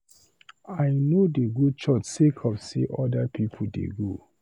I no dey go church sake of sey other pipu dey go.